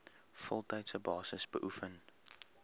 voltydse basis beoefen